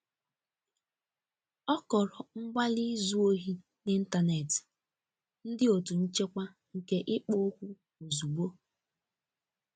Ọ kọrọ mgbali izu ohi n'intanetị ndi otu nchekwa nke ikpo okwu ozugbo.